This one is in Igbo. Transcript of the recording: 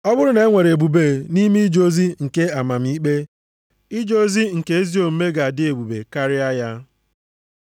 Ọ bụrụ na-enwere ebube nʼime ije ozi nke amamikpe, ije ozi nke ezi omume ga-adị ebube karịa ya.